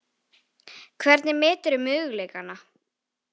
Hvernig meturðu möguleikana?